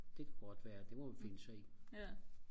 det kan godt være det må vi finde sig i